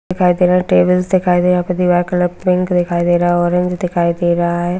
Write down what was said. दिखाई दे रहा है टेबल्स दिखाई दे रहा यहाँ पे दीवार का कलर पिंक दिखाई दे रहा ऑरेंज दिखाई दे रहा है।